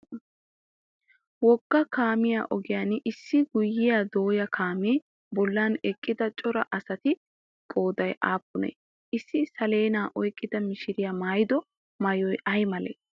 Wogga kaamiya ogiyan issi guyyiya dooya kaamiya bollan eqqida cora asati qooday aappunee? Issi saleenaa oyikkida mishiriya mayyido mayyoy ayi malee?